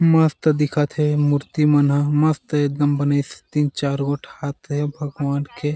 मस्त दिखत हे मूर्ति मन ह मस्त एकदम बने तीन चार गो हाथ हे भगवान के --